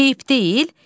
Eyib deyil.